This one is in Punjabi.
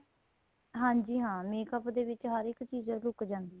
ਹਾਂਜੀ ਹਾਂ makeup ਦੇ ਹਰ ਇੱਕ ਚੀਜ਼ ਲੁੱਕ ਜਾਂਦੀ ਏ